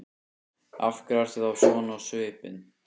Af hverju ertu þá svona á svipinn?